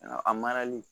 A marali